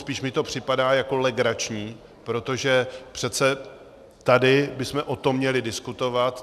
Spíš mi to připadá jako legrační, protože přece tady bychom o tom měli diskutovat.